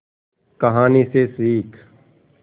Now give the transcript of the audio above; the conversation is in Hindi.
कहानी से सीख